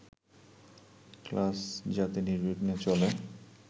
class যাতে নির্বিঘ্নে চলে